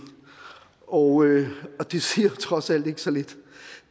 og det siger trods alt ikke så lidt